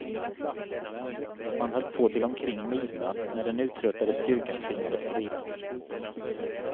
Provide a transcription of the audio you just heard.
Man höll på till omkring midnatt, när den uttröttade styrkan tvingades till vila.